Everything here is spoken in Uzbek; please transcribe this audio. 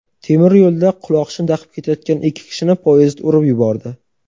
Temiryo‘lda quloqchin taqib ketayotgan ikki kishini poyezd urib yubordi.